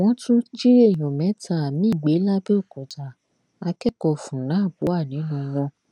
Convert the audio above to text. wọn tún jí èèyàn mẹta miín gbé làbẹòkúta akẹkọọ fun nab wà nínú wọn